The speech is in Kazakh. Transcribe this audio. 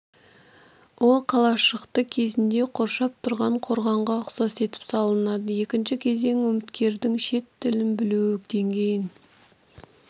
ол қалашықты кезінде қоршап тұрған қорғанға ұқсас етіп салынады екінші кезең үміткердің шет тілін білуі деңгейін